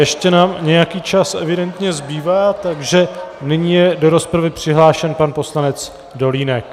Ještě nám nějaký čas evidentně zbývá, takže nyní je do rozpravy přihlášen pan poslanec Dolínek.